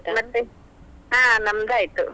ಮತ್ತೆ ಹಾ ನಮ್ದ್ ಆಯ್ತು.